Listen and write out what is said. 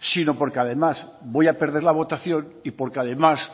sino porque además voy a perder la votación y porque además